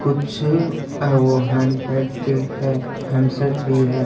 कुछ अं वो हैंडबैग भी है हैंडसेट भी है।